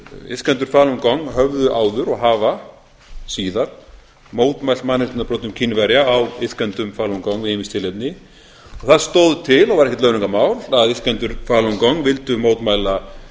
iðkendur falun gong höfðu áður og hafa síðar mótmælt mannréttindabrotum kínverja á iðkendum falun gong við ýmis tilefni og það stóð til og var ekkert launungarmál að iðkendur falun gong vildu mótmæla